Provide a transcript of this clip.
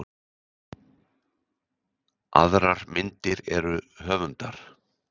Aðrar myndir eru höfundar.